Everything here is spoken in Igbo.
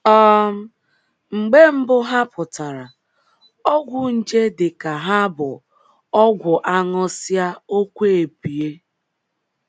um Mgbe mbụ ha pụtara, ọgwụ nje dị ka hà bụ ọgwụ a ṅụsịa okwu ebie.